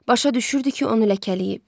Başa düşürdü ki, onu ləkələyib.